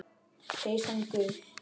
Peysan gul.